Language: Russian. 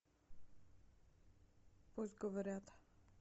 пусть говорят